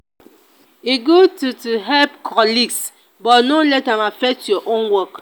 e good to to help colleagues but no let am affect your own work.